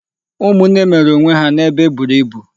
Ụmụnne mere onw e ha n'ebe eburu ibu.